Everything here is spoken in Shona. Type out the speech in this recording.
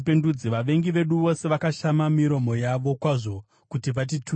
“Vavengi vedu vose vakashama miromo yavo kwazvo kuti vatituke.